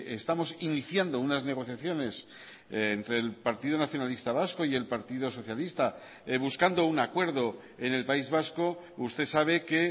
estamos iniciando unas negociaciones entre el partido nacionalista vasco y el partido socialista buscando un acuerdo en el país vasco usted sabe que